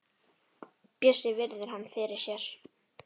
Bjössi virðir hana fyrir sér.